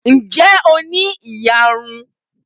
Ǹ jẹ́ o ní ìyarun?